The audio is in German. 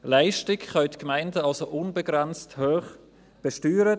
Leistung können die Gemeinden also unbegrenzt hoch besteuern.